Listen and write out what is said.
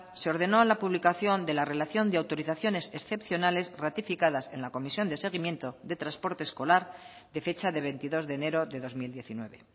se ordenó la publicación de la relación de autorizaciones excepcionales ratificadas en la comisión de seguimiento de transporte escolar de fecha de veintidós de enero de dos mil diecinueve